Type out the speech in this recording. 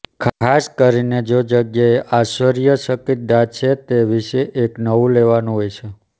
ખાસ કરીને જો જગ્યાએ આશ્ચર્યચકિત દાંત છે તે વિશે એક નવું લેવાનું હોય છે